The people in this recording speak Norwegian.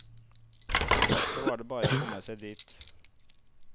Så var det bare å komme seg dit.